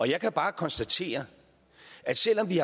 jeg kan bare konstatere at selv om vi